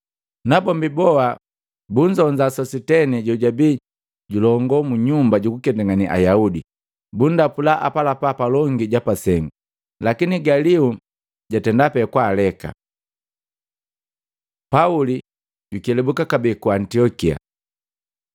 Nabombi boha bunzonza Sositena jojabii julongo mu nyumba jukuketangane Ayaudi, bundapula apalapa palongi ja pasengu. Lakini Galio jatenda pee kwaaleka. Pauli jukelabuka kabee ku Antiokia